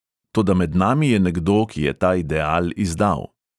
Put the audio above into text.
Toda med nami je nekdo, ki je ta ideal izdal.